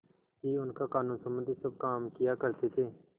ही उनका कानूनसम्बन्धी सब काम किया करते थे